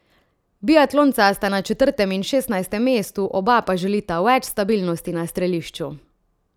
Biatlonca sta na četrtem in šestnajstem mestu, oba pa želita več stabilnosti na strelišču.